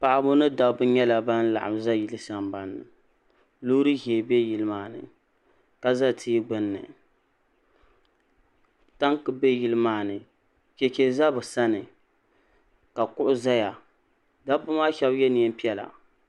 Paɣiba ni dabba nyɛla ban laɣim za yili sambani ni loori ʒee be yili maa ni ka za tia gbunni tanki be yili maa ni cheche za bɛ sani ka kuɣu zaya dabba maa shɛba ye neem'piɛla.